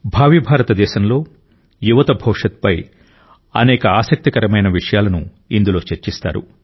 భావి భారతదేశంలో యువత భవిష్యత్తుపై అనేక ఆసక్తికరమైన విషయాలను ఇందులో చర్చిస్తారు